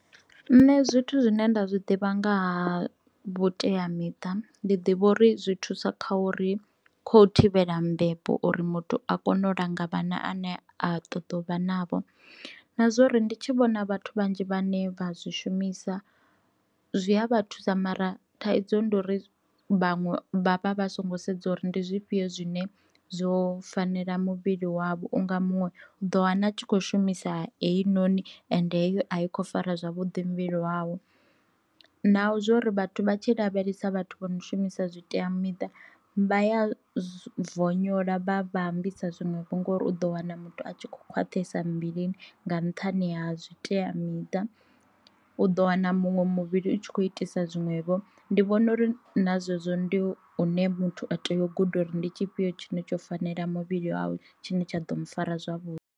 Nṋe zwithu zwine nda zwi ḓivha nga ha vhutea miṱa ndi ḓivha uri zwi thusa kha uri kho thivhela mbebo uri muthu a kone u langa vhana ane a ṱoḓa uvha navho, na zwori ndi tshi vhona vhathu vhanzhi vhane vha zwi shumisa zwi a vha thusa mara thaidzo ndi uri vhanwe vha vha vha songo sedza uri ndi zwifhio zwine zwo fanela muvhili wavho unga muṅwe do wana tshi kho shumisa heinoni ende a i khou fara zwavhuḓi muvhili wawe. Na zwo uri vhathu vha tshi lavhelesa vhathu vho no shumisa zwitea miṱa vha ya vonyola vha vha ambisa zwiṅwevho ngauri u ḓo wana muthu a tshi kho khwaṱhisa muvhilini nga nṱhani ha zwitea miṱa, u ḓo wana muṅwe muvhili u tshi khou itisa zwinwevho ndi vhona uri na zwezwo ndi zwine muthu a tea u guda uri ndi tshifhio tshine tsho fanela muvhili wawe tshine tsha ḓo mu fara zwavhuḓi.